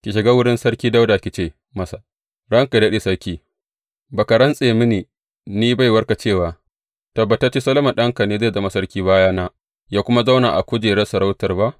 Ki shiga wurin Sarki Dawuda ki ce masa, Ranka yă daɗe sarki, ba ka rantse mini ni baiwarka cewa, Tabbatacce Solomon ɗanka ne zai zama sarki bayana, yă kuma zauna a kujerar sarautar ba?